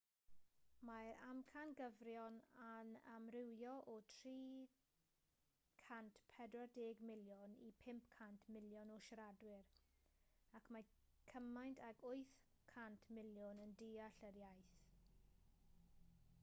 mae'r amcangyfrifon yn amrywio o 340 miliwn i 500 miliwn o siaradwyr ac mae cymaint ag 800 miliwn yn deall yr iaith